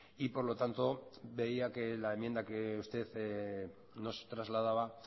y por lo tanto veía que la enmienda que usted nos trasladaba